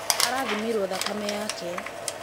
Arathimĩrwo thakame yake